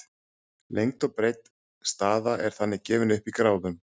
lengd og breidd staða er þannig gefin upp í gráðum